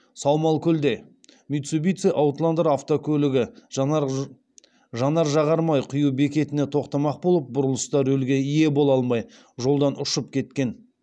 саумалкөлде митсубитси аутландер автокөлігі жанар жағармай құю бекетіне тоқтамақ болып бұрылыста рөлге ие бола алмай жолдан ұшып кеткен